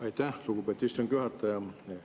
Aitäh, lugupeetud istungi juhataja!